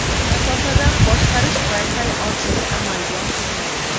Masofadan boshqarish Wi-Fi orqali amalga oshiriladi.